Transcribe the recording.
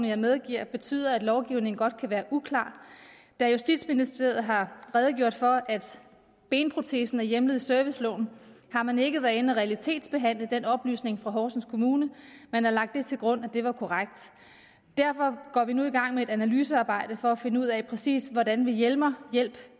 jeg medgiver betyder at lovgivningen godt kan være uklar da justitsministeriet har redegjort for at benprotesen er hjemlet i serviceloven har man ikke været inde at realitetsbehandle den oplysning fra horsens kommune man har lagt det til grund at det var korrekt derfor går vi nu i gang med et analysearbejde for at finde ud af præcis hvordan vi hjemler hjælp